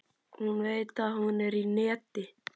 Hún veit að hún er í neti.